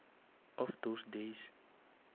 of those days